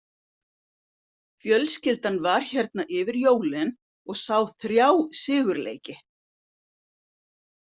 Fjölskyldan var hérna yfir jólin og sá þrjá sigurleiki.